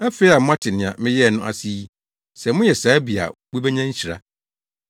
Afei a moate nea meyɛe no ase yi, sɛ moyɛ saa bi a mubenya nhyira.